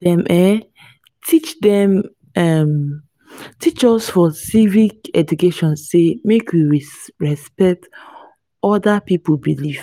dem um teach dem um teach us for civic education sey make we respect other pipu belief.